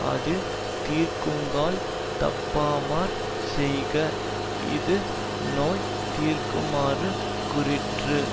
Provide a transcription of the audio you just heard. அது தீர்க்குங்கால் தப்பாமற் செய்க இது நோய் தீர்க்குமாறு கூறிற்று